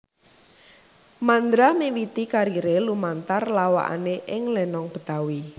Mandra miwiti kariré lumantar lawakané ing lenong Betawi